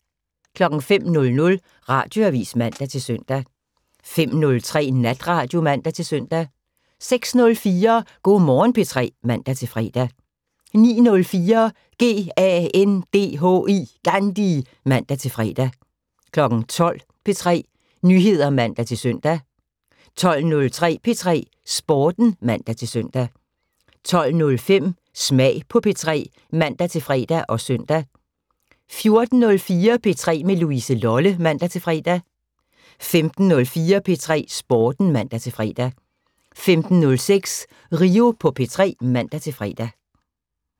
05:00: Radioavis (man-søn) 05:03: Natradio (man-søn) 06:04: Go' Morgen P3 (man-fre) 09:04: GANDHI (man-fre) 12:00: P3 Nyheder (man-søn) 12:03: P3 Sporten (man-søn) 12:05: Smag på P3 (man-fre og søn) 14:04: P3 med Louise Lolle (man-fre) 15:04: P3 Sporten (man-fre) 15:06: Rio på P3 (man-fre)